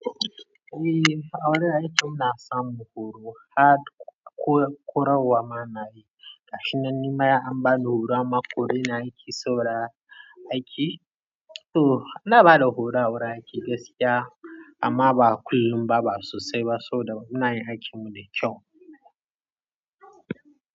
Eh, a wurin aiki muna samun horo har korarwa munayi ga shi nan, ni ma an bani horon amman har an koreni aiki, sauraye aiki. To, ana ba da horo a wurin aiki gaskiya amma ba kullum ba, ba sosai ba saboda muna yin aikin mu da kyau.